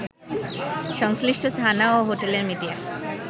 সংশ্লিষ্ট থানা ও হোটেলের মিডিয়া